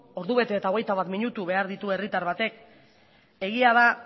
ordu bete eta hogeita bat minutu behar ditu herritar batek egia da